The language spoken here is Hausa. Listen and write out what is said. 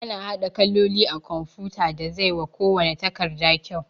Ana haɗa kaloli a kumfuta da zai wa kuwanna takarda kyau